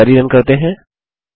अब query run करते हैं